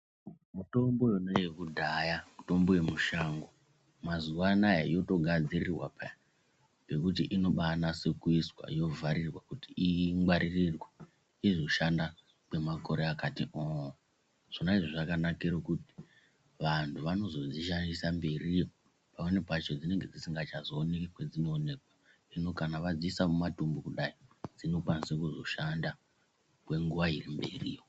Mitombo yona yekudhaya mitombo yemushango mazuva anaya yotogadzirirwa peya pekuti inobanase kuiswa yovharirwa kuti ingwaririrwe izoshanda kwemakore akati oo. Zvona izvo zvakanakire pakuti vantu vanozozvishaisa mberiyo pamweni pacho dzinonga dzisingachazooneki kwadzinoonekwa zvino kana vadziisa mumatumbu kudai, dzinokwanise kuzoshanda kwenguva iri mberiyo.